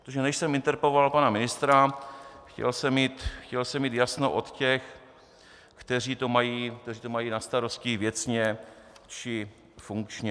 Protože než jsem interpeloval pana ministra, chtěl jsem mít jasno od těch, kteří to mají na starosti věcně či funkčně...